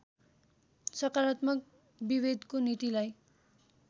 सकारात्मक विभेदको नीतिलाई